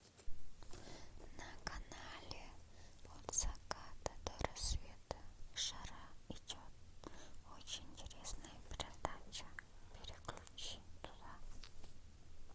на канале от заката до рассвета жара идет очень интересная передача переключи туда